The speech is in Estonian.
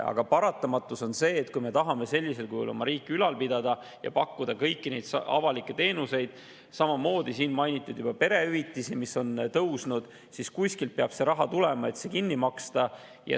Aga paratamatus on see, et kui me tahame sellisel kujul oma riiki ülal pidada ja pakkuda kõiki neid avalikke teenuseid – samamoodi on siin juba mainitud perehüvitisi, mis on tõusnud –, siis peab kuskilt raha tulema, et see kinni maksta.